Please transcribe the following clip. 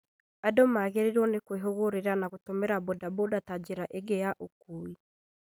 Andũ magĩrĩrirwo nĩ kwĩhũgũrĩra na gũtũmĩra bodaboda ta njĩra ingĩ ya ũkui